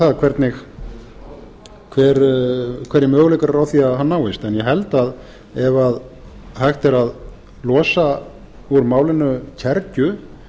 það hverjir möguleikar eru á að hann náist en ég held að ef hægt er að losa úr málinu kergju